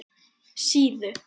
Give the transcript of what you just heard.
Síðu